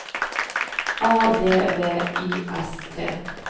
A V V I S T